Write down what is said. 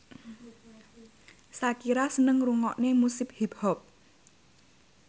Shakira seneng ngrungokne musik hip hop